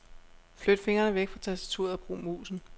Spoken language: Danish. Flyt fingrene væk fra tastaturet og brug musen.